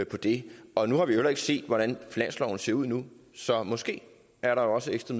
på det og nu har vi jo heller ikke set hvordan finansloven ser ud endnu så måske er der også ekstra